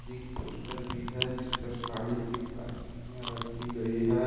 एक पोस्टर भी है जिस पर साड़ी की प्लास्टिक में रखी गई है।